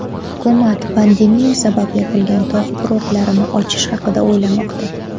Hukumat pandemiya sabab yopilgan tog‘ kurortlarini ochish haqida o‘ylamoqda.